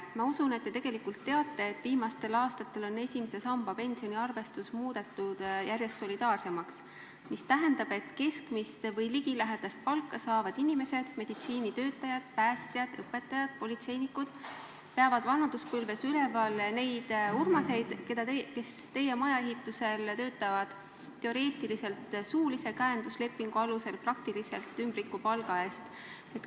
Ma usun, et te tegelikult teate, et viimastel aastatel on esimese samba pensioni arvestus muudetud järjest solidaarsemaks, mis tähendab, et keskmist või sellele ligilähedast palka saavad inimesed – meditsiinitöötajad, päästjad, õpetajad, politseinikud – peavad vanaduspõlves üleval neid Urmaseid, kes teie maja ehitusel töötavad teoreetiliselt suulise käenduslepingu alusel, praktiliselt ümbrikupalga eest.